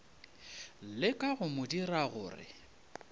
leka go mo dira gore